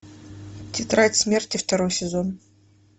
тетрадь смерти второй сезон